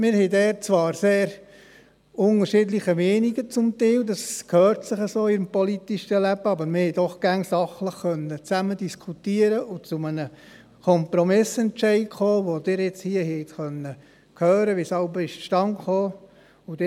Wir hatten dort zwar zum Teil sehr unterschiedliche Meinungen – das gehört sich so im politischen Leben –, aber wir konnten doch immer sachlich zusammen diskutieren und zu Kompromissentscheiden kommen, von denen sie nun hier hören konnten, wie sie jeweils zustande gekommen sind.